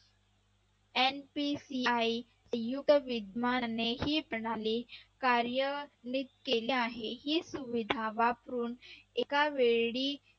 MPCI कार्यानित केली आहे. ही सुविधा वापरून एकावेळी